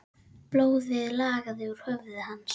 Blóðið lagaði úr höfði hans.